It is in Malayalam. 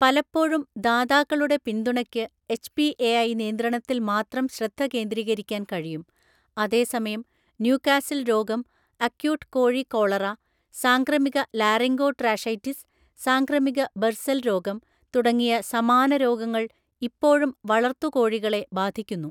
പലപ്പോഴും, ദാതാക്കളുടെ പിന്തുണക്ക് എച്ച്.പി.എ.ഐ. നിയന്ത്രണത്തിൽ മാത്രം ശ്രദ്ധ കേന്ദ്രീകരിക്കാൻ കഴിയും, അതേസമയം ന്യൂകാസിൽ രോഗം, അക്യൂട്ട് കോഴി കോളറ, സാംക്രമിക ലാറിംഗോട്രാഷൈറ്റിസ്, സാംക്രമിക ബർസൽ രോഗം തുടങ്ങിയ സമാന രോഗങ്ങൾ ഇപ്പോഴും വളർത്തു കോഴികളെ ബാധിക്കുന്നു.